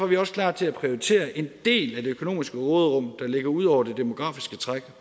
vi også klar til at prioritere en del af det økonomiske råderum der ligger ud over det demografiske træk